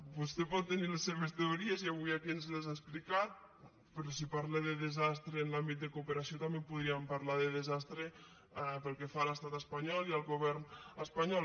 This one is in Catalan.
vostè pot tenir les seves teories i avui aquí ens les ha explicat però si parla de desastre en l’àmbit de cooperació també podríem parlar de desastre pel que fa a l’estat espanyol i al govern espanyol